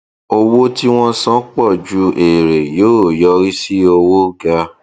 owó tí wọn san pọ ju èrè yóò yọrí sí owó ga